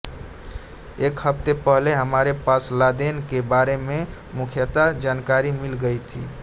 एक हफ्ते पहले हमारे पास लादेन के बारे में पुख्ता जानकारियां मिल गई थीं